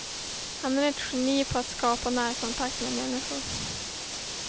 Han är ett geni på att skapa närkontakt med människor.